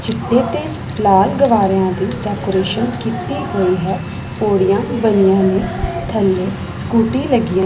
ਚਿੱਟੇ ਤੇ ਲਾਲ ਗੁਬਾਰਿਆ ਦੀ ਡੈਕੋਰੇਸ਼ਨ ਕੀਤੀ ਗਈ ਹੈ ਪੌੜੀਆਂ ਬਣੀਆਂ ਹੋਈਆਂ ਥੱਲੇ ਸਕੂਟੀ ਲੱਗੀਐਂ --